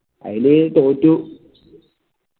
അയില് തോറ്റു